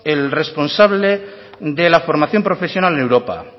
el responsable de la formación profesional en europa